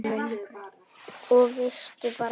Og veistu bara hvað